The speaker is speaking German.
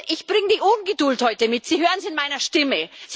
Ich bringe die Ungeduld heute mit, Sie hören es in meiner Stimme.